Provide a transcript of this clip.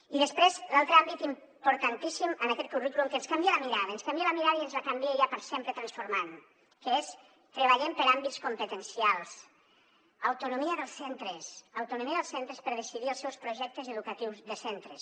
i després l’altre àmbit importantíssim en aquest currículum que ens canvia la mirada ens canvia la mirada i ens la canvia ja per sempre transformant que és treballem per àmbits competencials autonomia dels centres autonomia dels centres per decidir els seus projectes educatius de centres